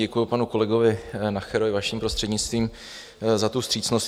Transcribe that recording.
Děkuji panu kolegovi Nacherovi vaším prostřednictvím za tu vstřícnost.